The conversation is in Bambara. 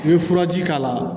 N'i ye furaji k'a la